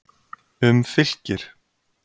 Um Fylkir: